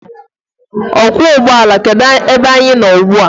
Ọkwọụgbọala, kedu ebe anyị nọ ugbua?